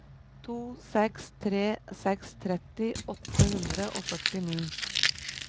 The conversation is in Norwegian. to seks tre seks tretti åtte hundre og førtini